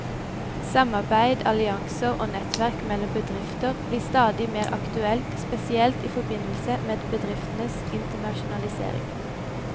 Samarbeid, allianser og nettverk mellom bedrifter blir stadig mer aktuelt, spesielt i forbindelse med bedrifters internasjonalisering.